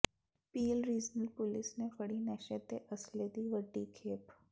peel regional police ਨੇ ਫੜੀ ਨਸ਼ੇ ਤੇ ਅਸਲੇ ਦੀ ਵੱਡੀ ਖੇਪ